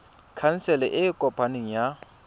khansele e e kopaneng ya